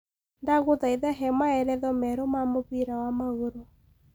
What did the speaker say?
ndagũthaitha hee maeletho meeru ma mubira wa maguru